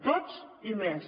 tots i més